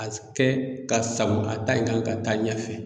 A kɛ ka sago a ta in kan ka taa ɲɛfɛ.